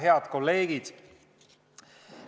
Head kolleegid!